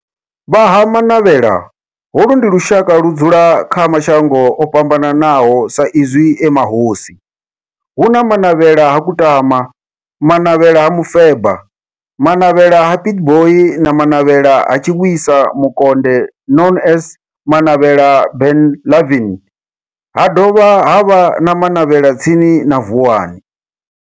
Vha Ha-Manavhela, holu ndi lushaka ludzula kha mashango ofhambanaho sa izwi e mahosi, hu na Manavhela ha Kutama, Manavhela ha Mufeba, Manavhela ha Pietboi na Manavhela ha Tshiwisa Mukonde known as Manavhela Benlavin, ha dovha havha na Manavhela tsini na Vuwani.